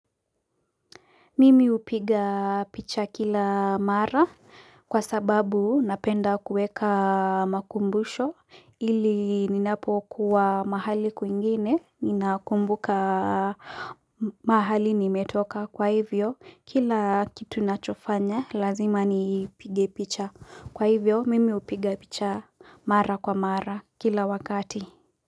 Mimi hupiga picha kila mara kwa sababu napenda kuweka makumbusho ili ninapo kuwa mahali kwingine ninakumbuka mahali nimetoka kwa hivyo kila kitu nachofanya lazima nipige picha kwa hivyo mimi hupiga picha mara kwa mara kila wakati.